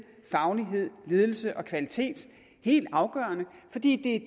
faglighed ledelse og kvalitet helt afgørende fordi det er